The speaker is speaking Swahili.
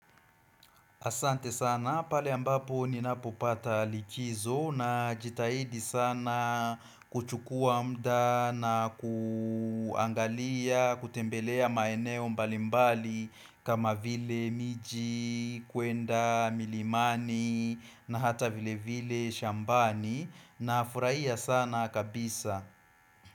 Asante sana pale ambapo ninapopata likizo najitahidi sana kuchukua muda na kuangalia kutembelea maeneo mbalimbali kama vile miji, kwenda, milimani na hata vile vile shambani nafurahia sana kabisa.